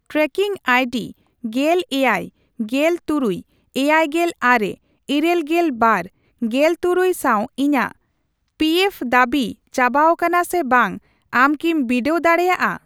Trekking ID ᱜᱮᱞ ᱮᱭᱟᱭ ,ᱜᱮᱞ ᱛᱩᱨᱩᱭ ,ᱮᱭᱟᱭᱜᱮᱞ ᱟᱨᱮ ,ᱤᱨᱟᱹᱞᱜᱮᱞ ᱵᱟᱨ ,ᱜᱮᱞᱛᱩᱨᱩᱭ ᱥᱟᱣ ᱤᱧᱟᱜ ᱯᱤᱮᱯᱷ ᱫᱟᱹᱵᱤ ᱪᱟᱵᱟᱣᱟᱠᱟᱱᱟ ᱥᱮ ᱵᱟᱝ ᱟᱢ ᱠᱤᱢ ᱵᱤᱰᱟᱹᱣ ᱫᱟᱲᱮᱭᱟᱜᱼᱟ ?